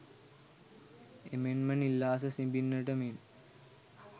එමෙන්ම නිල් අහස සිඹින්නට මෙන්